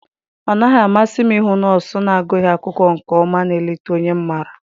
Ọ naghị amasị m ịhụ nọọsụ na-agụghị akwụkwọ nke ọma na-eleta onye m maara.